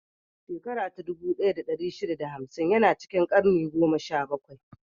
Shakarar dubu ɗaya da ɗari shida da hamsin ya na cikin karni goma sha bakwai.